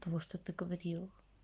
того что ты говорил